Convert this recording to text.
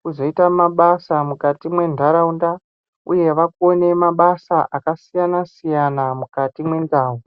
kuzoita mabasa mukati mwendaraunda uye vakone mabasa akasiyana siyana mukati mwendau.